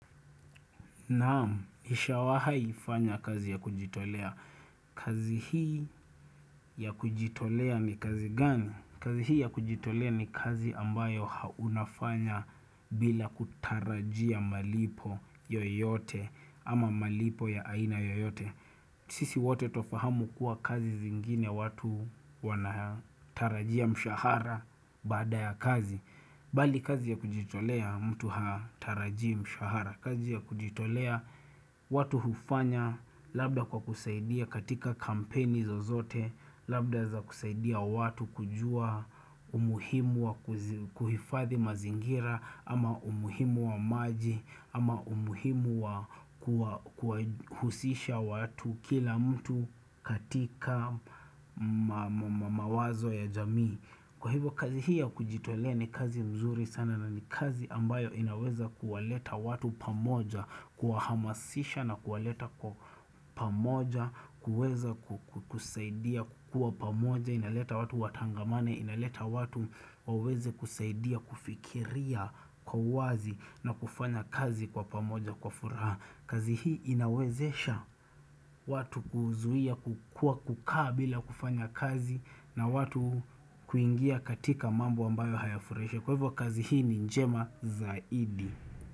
Naam, nisha wahaifanya kazi ya kujitolea. Kazi hii ya kujitolea ni kazi gani? Kazi hii ya kujitolea ni kazi ambayo haunafanya bila kutarajia malipo yoyote ama malipo ya aina yoyote. Sisi wote tofahamu kuwa kazi zingine watu wanatarajia mshahara bada ya kazi. Bali kazi ya kujitolea mtu hatarajim shahara kazi ya kujitolea watu hufanya labda kwa kusaidia katika kampeni zozote labda za kusaidia watu kujua. Umuhimu wa kuhifathi mazingira ama umuhimu wa maji ama umuhimu wa kuhusisha watu kila mtu katika mawazo ya jamii. Sisi wote tofahamu kuwa kazi zingine watu wanatarajia mshahara bada ya kazi. Kuweza kusaidia kukua pamoja, inaweza watu watangamane, inaweza watu waweze kusaidia kufikiria kwa wazi na kufanya kazi kwa pamoja kwa furaha. Kazi hii inawezesha watu kuzuia kukua kukaa bila kufanya kazi na watu kuingia katika mambo ambayo hayafureshe. Kwa hivyo kazi hii ni njema zaidi.